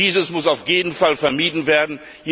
Dies muss auf jeden Fall vermieden werden.